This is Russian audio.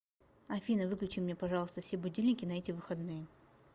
афина выключи мне пожалуйста все будильники на эти выходные